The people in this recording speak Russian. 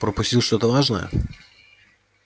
пропустил что-то важное